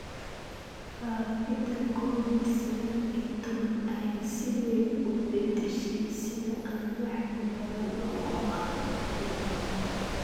Faafida Covid sagaal iyo tobbaan ayaa si weyn u beddeshay sida aan wax u baranno oo aan wax u baranno.